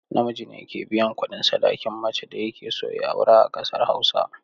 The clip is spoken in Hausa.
Namiji ne ke biyan kuɗin sadakin macen da yake so ya aura a ƙasar hausa.